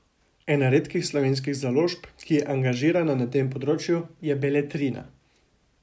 Ena redkih slovenskih založb, ki je angažirana na tem področju, je Beletrina.